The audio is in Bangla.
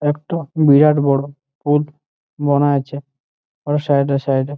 একটো বিরাট বড় পুদ বোনা আছে অর সাইড -এ সাইড -এ ।